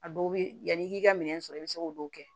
A dɔw bɛ yanni i k'i ka minɛn sɔrɔ i bɛ se k'olu kɛ